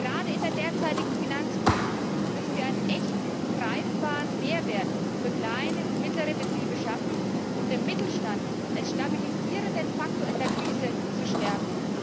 Gerade in der derzeitigen Finanzkrise müssen wir einen echten, greifbaren Mehrwert für kleine und mittlere Betriebe schaffen, um den Mittelstand als stabilisierenden Faktor in der Krise zu stärken.